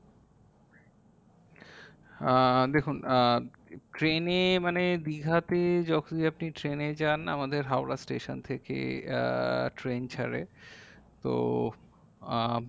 আহ দেখুন আহ train এ মানে দীঘাতে যখনই আপনি train এ যান আমাদের হাওড়া station থেকে আহ train ছারে তো আহ